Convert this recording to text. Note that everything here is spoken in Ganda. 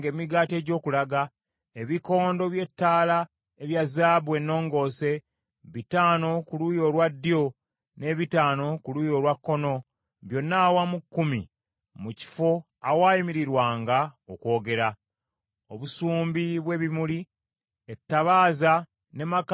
ebikondo by’ettaala ebya zaabu ennongoose, bitaano ku luuyi olwa ddyo n’ebitaano ku luuyi olwa kkono, byonna awamu kkumi, mu kifo awaayimirirwanga okwogera; obusumbi bw’ebimuli; ettabaaza ne makansi nga bya zaabu;